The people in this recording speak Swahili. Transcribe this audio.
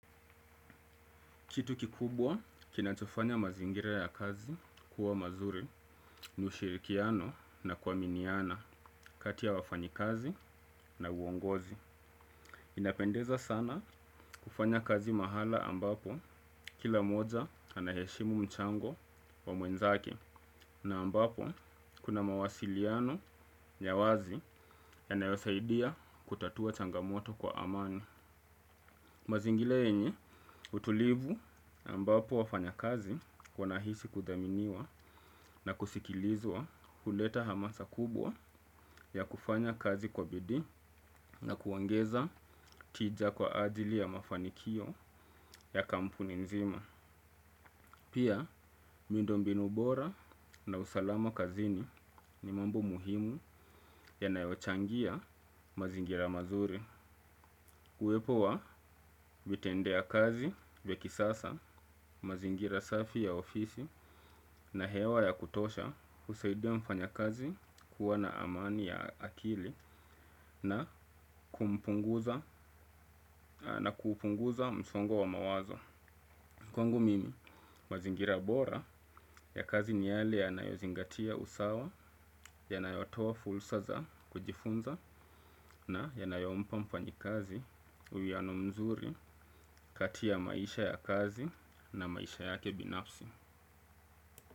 Kitu kikubwa kinachofanya mazingira ya kazi kuwa mazuri ni ushirikiano na kuaminiana kati ya wafanyi kazi na uongozi. Inapendeza sana kufanya kazi mahala ambapo kila mmoja anaheshimu mchango wa mwezake na ambapo kuna mawasiliano ya wazi ya nayosaidia kutatua changamoto kwa amani. Mazingira yenye utulivu ambapo wafanya kazi wanahisi kuthaminiwa na kusikilizwa huleta hamasa kubwa ya kufanya kazi kwa bidii na kuongeza tija kwa ajili ya mafanikio ya kampuni nzima. Pia, miundombinu bora na usalama kazini ni mambo muhimu ya nayochangia mazingira mazuri. Uwepo wa vitendeya kazi, vya kisasa, mazingira safi ya ofisi na hewa ya kutosha husaidia mfanya kazi kuwa na amani ya akili na kupunguza msongo wa mawazo. Kwangu mimi, mazingira bora ya kazi ni yale ya nayozingatia usawa, yanayotoa fursa za kujifunza na ya nayompa mfanyi kazi uwiyano mzuri kati ya maisha ya kazi na maisha yake binafsi.